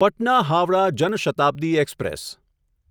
Patna Howrah Jan Shatabdi express